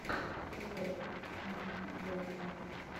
влог майки болтса